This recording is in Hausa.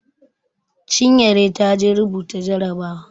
Chinyere ta je rubuta jarabawa.